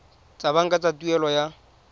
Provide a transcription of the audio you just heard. tsa banka tsa tuelo ya